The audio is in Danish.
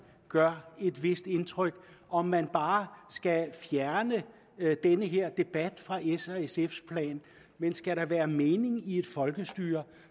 gør et vist indtryk om man bare skal fjerne den her debat fra s og sfs plan men skal der være mening i et folkestyre